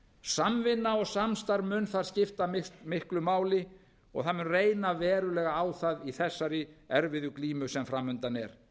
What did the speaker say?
samvinna og samstarf mun þar skipta miklu máli og það mun reyna verulega á það í þessari erfiðu glímu sem framundan er